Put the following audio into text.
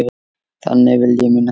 Þannig vil ég minnast þín.